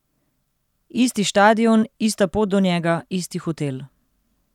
Isti štadion, ista pot do njega, isti hotel.